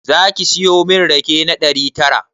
Zaki siyo min rake na ɗari tara?